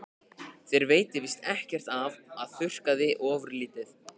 Þér veitir víst ekki af að þurrka þig ofurlítið.